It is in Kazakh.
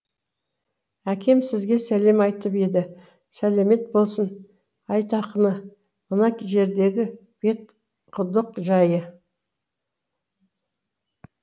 әкем сізге сәлем айтып еді сәлемет болсын айтақаны мына жердегі бетқұдық жайы